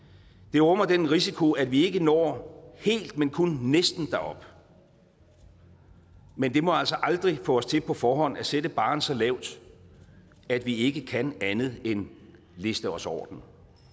det rummer den risiko at vi ikke når helt men kun næsten derop men det må altså aldrig få os til på forhånd at sætte barren så lavt at vi ikke kan andet end at liste os over den